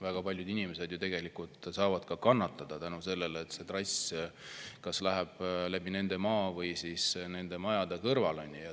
Väga paljud inimesed ju saavad kannatada seetõttu, et see trass läheb läbi nende maa või nende maja kõrvalt.